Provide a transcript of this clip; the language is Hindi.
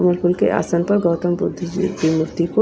गुरुकुल के आसन पर गौतम बुद्ध जी की मूर्ति को--